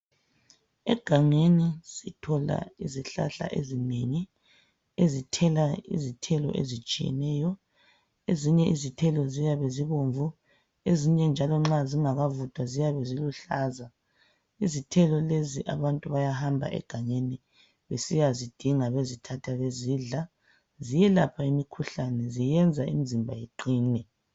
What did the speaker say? Egangeni sithola izihlahla ezinengi ezithela izithelo ezitshiyeneyo ezinye izithelo ziyabe zibomvu ezinye njalo nxa zingakavuthwa ziyabe ziluhlaza. Izithelo lezi abantu bayahamba egangeni besiyazidinga bezithatha bezidla ziyelapha imikhuhlane ziyenza imizimba iqine.